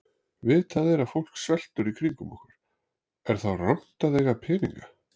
Vitað er að fólk sveltur í kringum okkur, er þá rangt að eiga peninga?